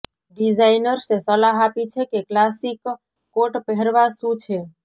ડિઝાઇનર્સે સલાહ આપી છે કે ક્લાસિક કોટ પહેરવા શું છે